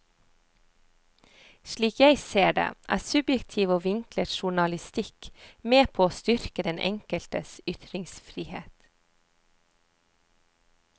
Slik jeg ser det, er subjektiv og vinklet journalistikk med på å styrke den enkeltes ytringsfrihet.